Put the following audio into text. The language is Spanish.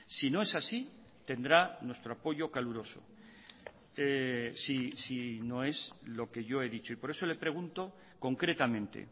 si no es así tendrá nuestro apoyo caluroso si no es lo que yo he dicho y por eso le pregunto concretamente